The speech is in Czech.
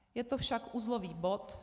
Je to však uzlový bod.